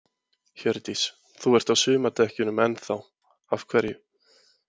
Hjördís: Þú ert á sumardekkjunum enn þá, af hverju?